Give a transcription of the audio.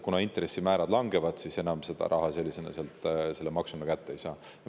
Kuna intressimäärad langevad, siis enam sellist raha selle maksuga kätte ei saa.